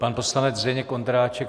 Pan poslanec Zdeněk Ondráček.